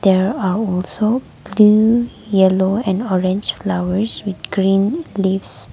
here are also green yellow and orange flowers with green leafs.